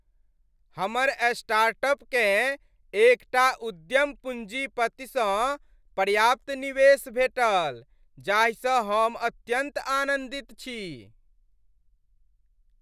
हमर स्टार्टअपकेँ एक टा उद्यम पूँजीपतिसँ पर्याप्त निवेश भेटल जाहिसँ हम अत्यन्त आनन्दित छी।